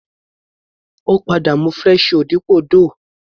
Ó padà mú fresh you dípò Doogh.